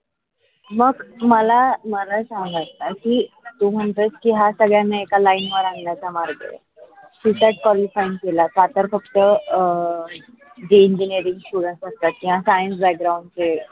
मग मला सांगायचं आहे कि तू म्हणतोस की हा सर्वांना एका लाईन वर आनाण्याचा मार्ग आहे cSat qualify केला. त्या तर फक्त अं enginnering student असतात त्या कायम science background चे